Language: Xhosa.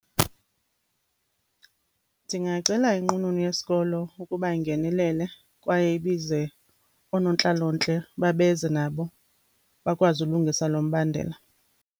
Ndingacela inqununu yesikolo ukuba ingenelele kwaye ibize oonontlalontle ukuba beze nabo bakwazi ulungisa lo mbandela.